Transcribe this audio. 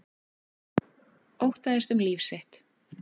Óttaðist um líf sitt